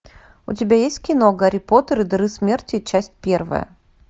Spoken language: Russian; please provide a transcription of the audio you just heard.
у тебя есть кино гарри поттер и дары смерти часть первая